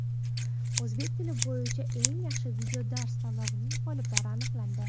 "O‘zbek tili bo‘yicha eng yaxshi videodars" tanlovining g‘oliblari aniqlandi.